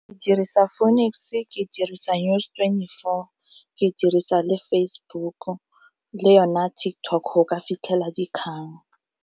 Dirisa Phoenix-e, ke dirisa News twenty-four, ke dirisa le Facebook-o le yone TikTok go ka fitlhela dikgang.